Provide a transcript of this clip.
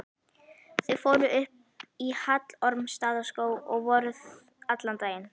Þau fóru upp í Hallormsstaðarskóg og voru allan daginn.